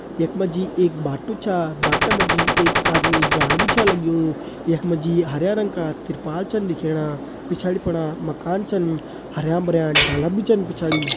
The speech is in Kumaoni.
यख मा जी एक बाटु छा बाटा मा जी एक आदमी जाण भी छा लग्युं यख मा जी हरयां रंग का तिरपाल छन दिखेणा पिछाड़ी फणा मकान छन हरयां भरयां डाला भी छन पिछाड़ी।